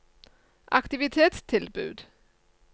aktivitetstilbud